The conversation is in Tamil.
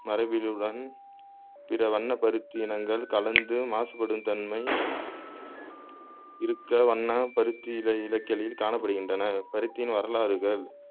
மரபியலுடன் பிற வண்ண பருத்தி இனங்கள் கலந்து மாசுபடும் தன்மை இருக்க வண்ண பருத்தி இழை இழைகளில் காணப்படுகின்றன பருத்தியின் வரலாறுகள்